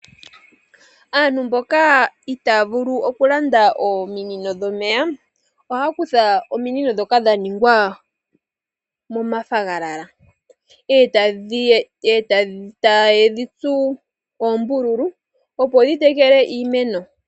Aantu mboka ita ya vulu oku landa ominino dhomeya, oha ya kutha ominino ndhoka dha ningwa moonayilona ,e ta ye dhi tsu oombululu opo dhi tekele iimeno.